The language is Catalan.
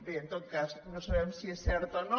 bé en tot cas no sabem si és cert o no